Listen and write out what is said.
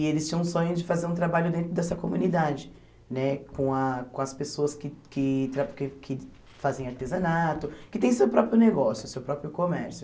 E eles tinham o sonho de fazer um trabalho dentro dessa comunidade né, com a com as pessoas que que tra que que fazem artesanato, que tem seu próprio negócio, seu próprio comércio.